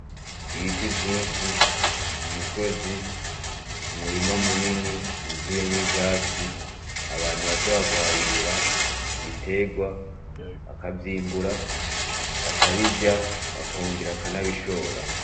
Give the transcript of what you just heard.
Ibiti vyinshi, umusozi ,umurima munini wuzuyemwo ivyatsi. Abantu bashobora kuharimira ibiterwa, bakavyimbura, bakabirya bakongera bakanabishora.